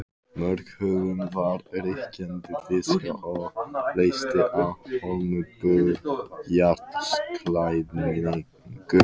Múrhúðun var ríkjandi tíska og leysti af hólmi bárujárnsklæðningu.